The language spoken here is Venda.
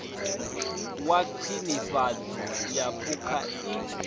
wa khwinifhadzo ya phukha i